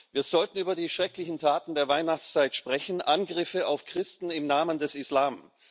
Wir sollten über die schrecklichen Taten der Weihnachtszeit sprechen Angriffe auf Christen im Namen des Islam.